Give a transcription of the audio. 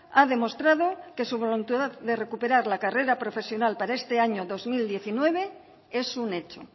ha demostrado que su voluntad de recuperar la carrera profesional para este año dos mil diecinueve es un hecho